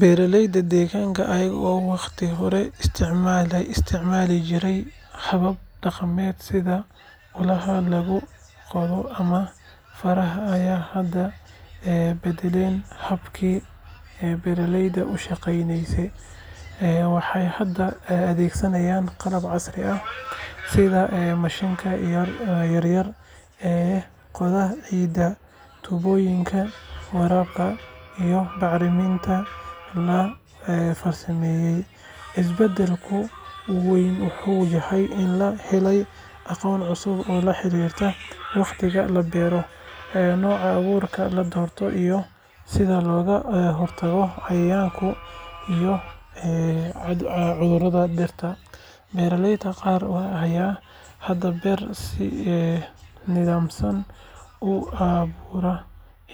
Beeralayda deegaanka ayaga oo wakhti hore isticmaali jiray habab dhaqameed sida ulaha lagu qodqodo ama faraha ayaa hadda beddelay habkii beeraleyda u shaqeynayeen. Waxay hadda adeegsadaan qalab casri ah sida mashiinnada yaryar ee qoda ciidda, tuubooyinka waraabka, iyo bacriminta la farsameeyay. Isbeddelka ugu weyn wuxuu yahay in la helay aqoon cusub oo la xiriirta wakhtiga la beero, nooca abuurka la doorto iyo sida looga hortago cayayaanka iyo cudurrada dhirta. Beeralayda qaar ayaa hadda beerta si nidaamsan u abaabula,